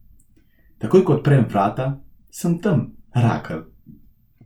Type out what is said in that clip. Takoj ko odprem vrata, sem tam, Rakel.